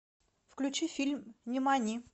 включи фильм нимани